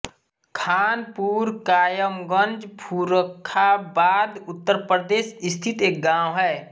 खानपुर कायमगंज फर्रुखाबाद उत्तर प्रदेश स्थित एक गाँव है